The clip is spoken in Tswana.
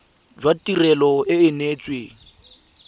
jwa tirelo e e neetsweng